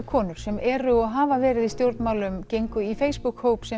konur sem eru og hafa verið í stjórnmálum gengu í Facebook hóp sem